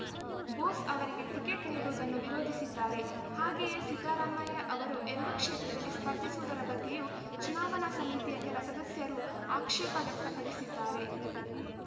ಬೋಸ್‌ ಅವರಿಗೆ ಟಿಕೆಚ್‌ ನೀಡುವುದನ್ನು ವಿರೋಧಿಸಿದ್ದಾರೆ ಹಾಗೆಯೇ ಸಿದ್ದರಾಮಯ್ಯ ಅವರು ಎರಡು ಕ್ಷೇತ್ರದಲ್ಲಿ ಸ್ಪರ್ಧಿಸುವುದರ ಬಗ್ಗೆಯೂ ಚುನಾವಣಾ ಸಮಿತಿಯ ಕೆಲ ಸದಸ್ಯರು ಆಕ್ಷೇಪ ವ್ಯಕ್ತಪಡಿಸಿದ್ದಾರೆ